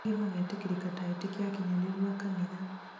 angĩ magetĩkĩrĩka ta etĩkia akinyanĩrũ a kanitha